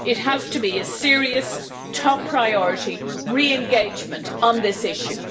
It has to be a serious, top priority re engagement on this issue.